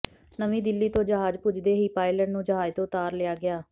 ਨਵੀਂ ਦਿੱਲੀ ਤੋਂ ਜਹਾਜ਼ ਪੁੱਜਦੇ ਹੀ ਪਾਇਲਟ ਨੂੰ ਜਹਾਜ਼ ਤੋਂ ਉਤਾਰ ਲਿਆ ਗਿਆ